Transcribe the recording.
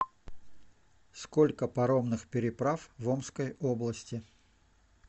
сколько паромных переправ в омской области